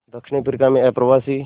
दक्षिण अफ्रीका में अप्रवासी